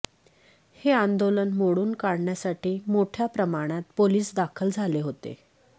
हे आंदोलन मोडून काढण्यासाठी मोठ्या प्रमाणात पोलीस दाखल झाले होते